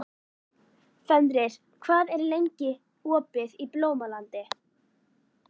Fenrir, hvað er lengi opið í Blómalandi?